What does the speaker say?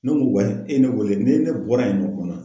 Ne ko e ye ne weele ni ne bɔra yen nɔ